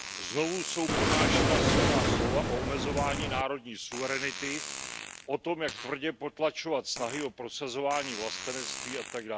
Znovu jsou pronášena silná slova o omezování národní suverenity, o tom, jak tvrdě potlačovat snahy o prosazování vlastenectví atd.